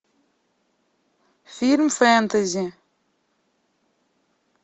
фильм фэнтези